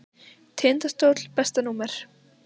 Tindastóll Besta númer?